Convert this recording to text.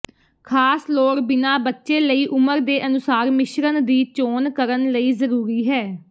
ਖਾਸ ਲੋੜ ਬਿਨਾ ਬੱਚੇ ਲਈ ਉਮਰ ਦੇ ਅਨੁਸਾਰ ਮਿਸ਼ਰਣ ਦੀ ਚੋਣ ਕਰਨ ਲਈ ਜ਼ਰੂਰੀ ਹੈ